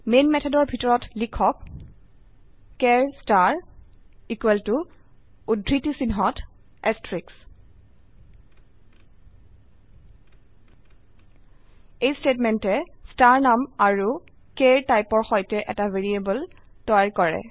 man মেথডৰ ভিতৰত লিখুক চাৰ ষ্টাৰ উদ্ধৃতি চিন্হত এচাৰটেইক্স এই স্টেটমেন্টে ষ্টাৰ নাম আৰু চাৰ টাইপৰ সৈতে এটা ভ্যাৰিয়েবল তৈয়াৰ কৰে